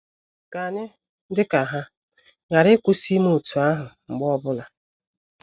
Ka anyị, dị ka ha,, ghara ịkwụsị ime otú ahụ mgbe ọ bụla.